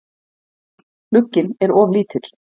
Glugginn er of lítill.